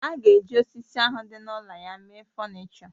A ga-eji osisi ahụ dị n'ụlọ ya mee fọnịchọ